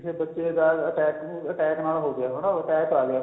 ਕਿਸੇ ਬੱਚੇ ਦਾ attack ਨਾਲ ਹੋ ਗਿਆ ਹਨਾ attack ਆ ਗਿਆ